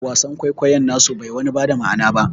Wasan kwaikoyon nasu bai wani bada ma'ana ba